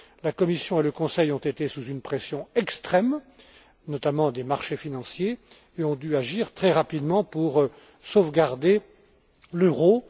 La Commission et le Conseil, placés sous une pression extrême, notamment de la part des marchés financiers, ont dû agir très rapidement pour sauvegarder l'euro.